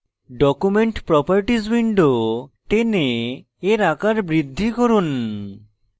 document properties window টেনে এর আকার বৃদ্ধি করুন